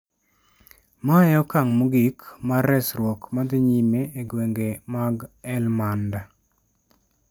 Ma e okang ' mogik mar resruok ma dhi nyime e gwenge mag Helmand.